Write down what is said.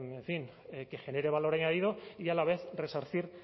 que genere valor añadido y a la vez resarcir